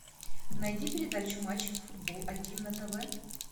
найди передачу матч футбол один на тв